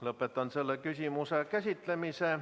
Lõpetan selle küsimuse käsitlemise.